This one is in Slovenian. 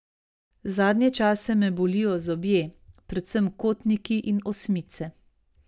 Zadnje čase me bolijo zobje, predvsem kotniki in osmice.